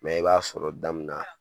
Mɛ i b'a sɔrɔ da min na